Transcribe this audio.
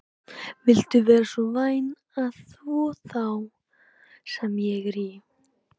Viltu vera svo væn að þvo þá sem ég er í?